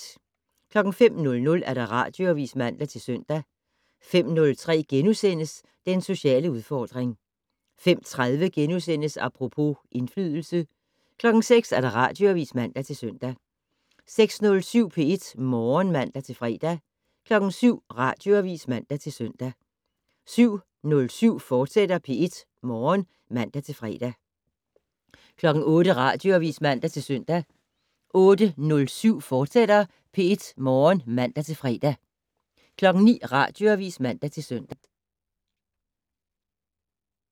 05:00: Radioavis (man-søn) 05:03: Den sociale udfordring * 05:30: Apropos - indflydelse * 06:00: Radioavis (man-søn) 06:07: P1 Morgen (man-fre) 07:00: Radioavis (man-søn) 07:07: P1 Morgen, fortsat (man-fre) 08:00: Radioavis (man-søn) 08:07: P1 Morgen, fortsat (man-fre) 09:00: Radioavis (man-søn)